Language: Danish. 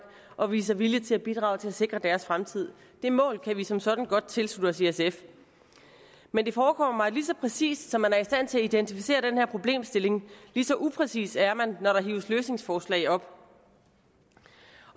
og viser vilje til at bidrage til at sikre deres fremtid det mål kan vi som sådan godt tilslutte os i sf men det forekommer mig at lige så præcist som man er i stand til at identificere den her problemstilling lige så upræcis er man når der hives løsningsforslag op